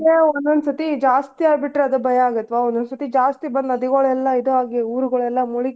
ಒಂದೊಂದ್ ಸತಿ ಜಾಸ್ತಿ ಆಗಿಬಿಟ್ರ್ ಆದ ಭಯ ಆಗುತ್ತ ಒಂದೊಂದ್ ಸತಿ ಜಾಸ್ತಿ ಬಂದ್ ನದಿಗೋಳೆಲ್ಲಾ ಇದ್ ಆಗಿ ಊರ್ಗೋಳೆಲ್ಲಾ ಮುಳುಗಿ.